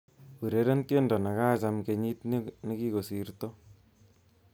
Ureren tiendo nekacham kenyit nekikosirti